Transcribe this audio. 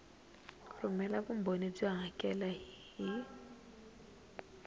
rhumela vumbhoni byo hakela hi